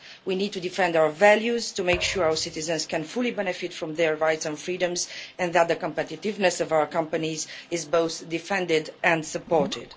We need to defend our values to make sure our citizens can fully benefit from their rights and freedoms, and that the competitiveness of our companies is both defended and supported.